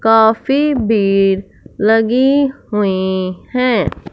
काफ़ी बेड लगी हुई है।